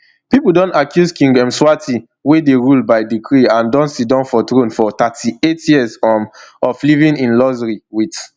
pipo don accuse king mswati wey dey rule by decree and don sidon for throne for thirty-eight years um of living in luxury wit